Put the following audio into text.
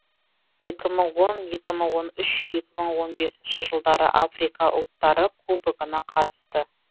екі мың он екі мың он үш екі мың он бесінші жылдары африка ұлттары кубогына қатысты